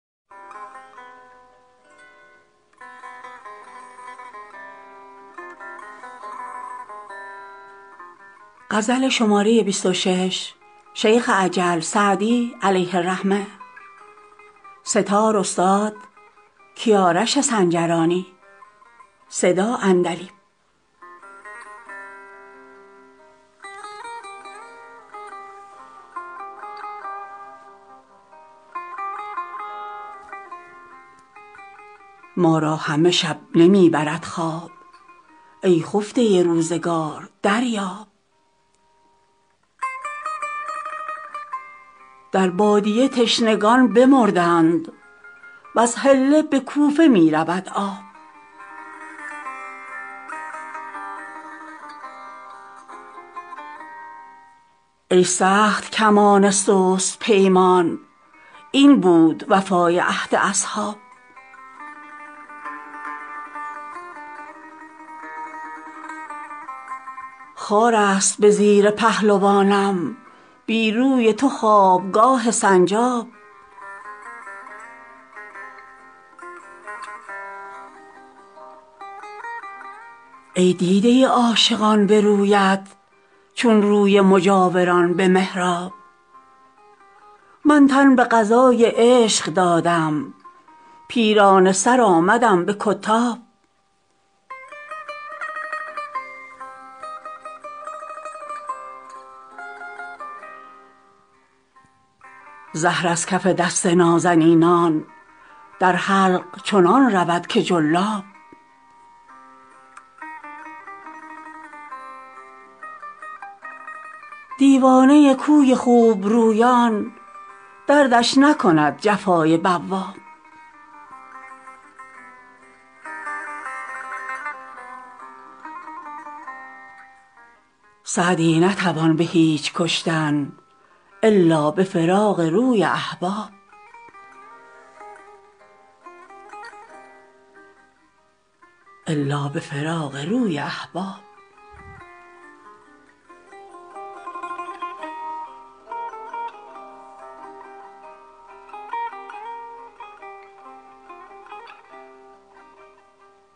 ما را همه شب نمی برد خواب ای خفته روزگار دریاب در بادیه تشنگان بمردند وز حله به کوفه می رود آب ای سخت کمان سست پیمان این بود وفای عهد اصحاب خار است به زیر پهلوانم بی روی تو خوابگاه سنجاب ای دیده عاشقان به رویت چون روی مجاوران به محراب من تن به قضای عشق دادم پیرانه سر آمدم به کتاب زهر از کف دست نازنینان در حلق چنان رود که جلاب دیوانه کوی خوبرویان دردش نکند جفای بواب سعدی نتوان به هیچ کشتن الا به فراق روی احباب